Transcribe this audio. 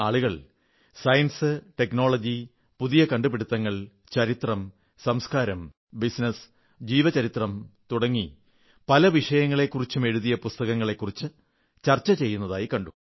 ശാസ്ത്രം സാങ്കേതിക വിദ്യ പുതിയ കണ്ടുപിടുത്തങ്ങൾ ചരിത്രം സംസ്കാരം ബിസിനസ് ജീവചരിത്രം തുടങ്ങി പല വിഷയങ്ങളെക്കുറിച്ചും എഴുതിയ പുസ്തകങ്ങളെക്കുരിച്ച് ആളുകൾ ചർച്ച ചെയ്യുന്നതായി കണ്ടു